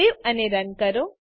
save અને run કરો